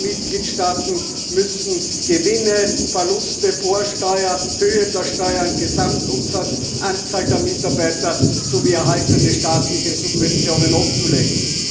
Alle Mitgliedstaaten müssen Gewinne und Verluste, vor Steuer, Höhe der Steuern, Gesamtumsatz, Anzahl der Mitarbeiter sowie erhaltene staatliche Subventionen offenlegen.